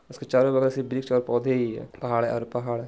इसके चारो बगल सिर्फ वृक्ष और पौधे ही है पहाड़ है और पहाड़ है।